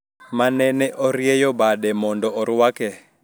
Ma nene orieyo bade mondo oruake